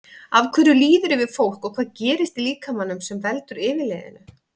Af hverju líður yfir fólk og hvað gerist í líkamanum sem veldur yfirliðinu?